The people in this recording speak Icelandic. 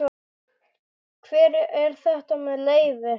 Hver er þetta með leyfi?